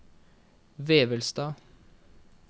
Vevelstad